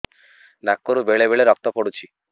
ନାକରୁ ବେଳେ ବେଳେ ରକ୍ତ ପଡୁଛି